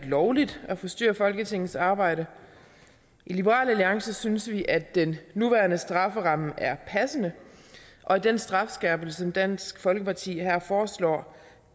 lovligt at forstyrre folketingets arbejde i liberal alliance synes vi at den nuværende strafferamme er passende og at den strafskærpelse som dansk folkeparti her foreslår